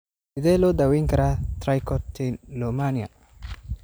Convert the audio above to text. Sidee loo daweyn karaa trichotillomania?